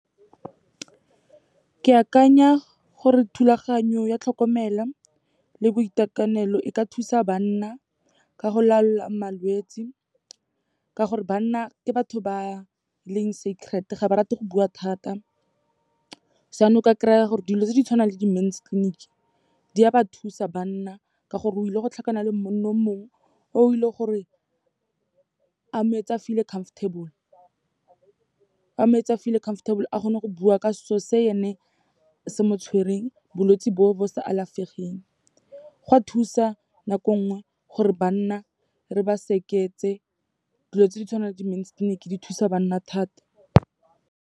Ke akanya gore thulaganyo ya tlhokomelo le boitekanelo e ka thusa banna, ka go laola malwetse, ka gore banna ke batho ba leng secret, ga ba rate go bua thata. So yaanong o ka kry-a gore dilo tse di tshwanang le di-mens clinic, di a ba thusa banna, ka gore o ile go tlhokana le monna o mongwe, o ile gore a mo etse a feel-e comfortable. A mo etse a feel-e comfortable, a kgone go bua ka se'o se ene se mo tshwereng, bolwetse bo, bo sa alafegeng. Go a thusa nako nngwe gore banna re ba dilo tse di tshwanang le di-mens clinic di thusa banna thata.